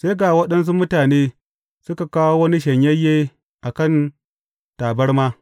Sai ga waɗansu mutane suka kawo wani shanyayye a kan tabarma.